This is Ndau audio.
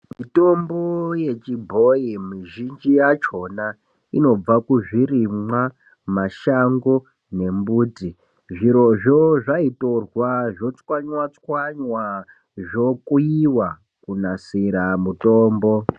Mitombo yechibhoyi mizhinji yachona inobva kuzvirimwa, mashango nembuti. Zvirozvo zvaitorwa zvochwanywa-chwanywa zvokuyiwa kunasira mutombo.